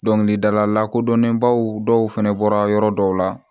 Dɔnkilidala lakodɔnnenbaw dɔw fɛnɛ bɔra yɔrɔ dɔw la